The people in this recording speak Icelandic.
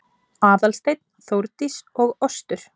Aðalsteinn, Þórdís og Ostur